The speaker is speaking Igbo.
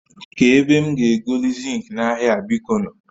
Ka ebe m ga egoli zinki n'ahia a biko nu?